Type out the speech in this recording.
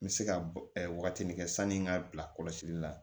N bɛ se ka wagatinin kɛ sani n ka bila kɔlɔsili la